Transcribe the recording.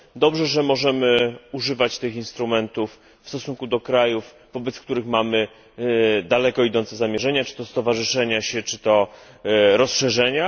Dobrze, że możemy używać tych instrumentów w stosunku do krajów, wobec których mamy daleko idące zamierzenia, czy to stowarzyszenia się, czy to rozszerzenia.